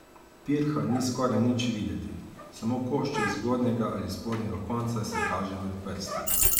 Pirha ni skoraj nič videti, samo košček zgornjega ali spodnjega konca se kaže med prsti.